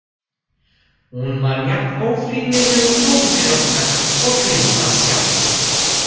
Hún var jafn ófrýnileg og móðir okkar og grimm að sjá.